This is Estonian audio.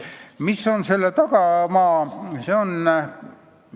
Mis on selle tagamaa?